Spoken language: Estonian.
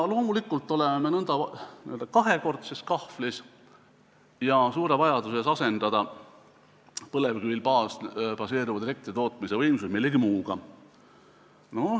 Loomulikult oleme me nõnda n-ö kahekordses kahvlis ja meil on suur vajadus asendada põlevkivil baseeruvad elektritootmise võimsused millegi muuga.